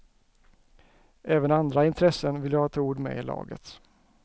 Även andra intressen vill ha ett ord med i laget.